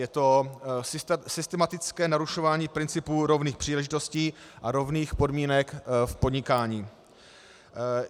Je to systematické narušování principů rovných příležitostí a rovných podmínek v podnikání.